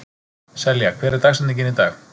Selja, hver er dagsetningin í dag?